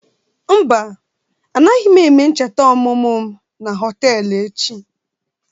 Mba, anaghị m eme ncheta ọmụmụ na họtelụ echi.